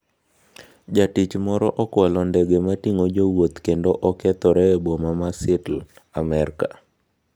Jatich moro okwalo ndege ma ting'o jowuoth kendo okethore e boma ma Seattle, Amerka